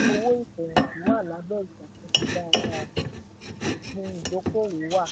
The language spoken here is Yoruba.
ilé-iṣẹ́ owó ìfẹ̀yìntì wà lábẹ́ ìṣàkóso dáadáa; òpin ìdókòwó wà.